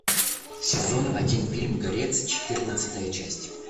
сезон один фильм горец четырнадцатая часть